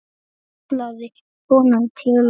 kallaði konan til okkar.